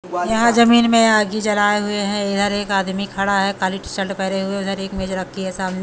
यहां जमीन में आग जी जलाए हुए हैं इधर एक आदमी खड़ा है काली चल्ट पहरे हुए उधर एक मेज रखी है सामने--